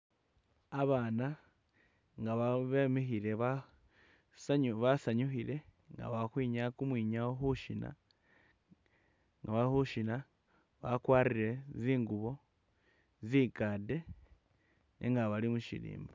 Abaana nga bemikhile basanyu basanyukhile nga bali ukhwinyaya kumwinyawo khushina nga bali khushina bakwarire zingubo zinkade nenga bali mushirimba.